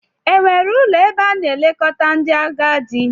Enwere ụlọ ebe a na-elekọta ndị agadi?